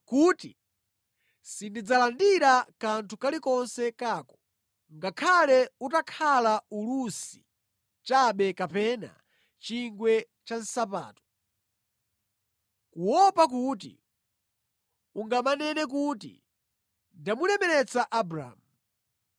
kuti sindidzalandira kanthu kalikonse kako, ngakhale utakhala ulusi chabe kapena chingwe cha nsapato, kuopa kuti ungamanene kuti, ‘Ndamulemeretsa Abramu.’